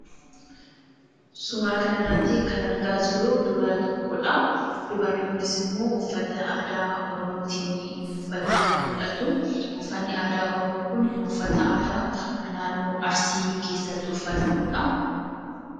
Suuraa kana irratti kan argaa jirru dubara tokkodha. Dubarri kunis immoo uffata aadaa Oromootiini uffattee kan mul'attu; uffatni aadaa Oromoo kun uffata naannoo Arsii keessatti uffatamudha.